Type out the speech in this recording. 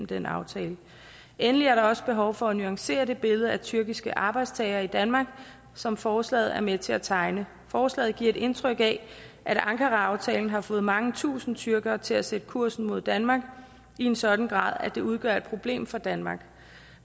den aftale endelig er der også behov for at nuancere det billede af tyrkiske arbejdstagere i danmark som forslaget er med til at tegne forslaget giver et indtryk af at ankaraaftalen har fået mange tusinde tyrkere til at sætte kursen mod danmark i en sådan grad at det udgør et problem for danmark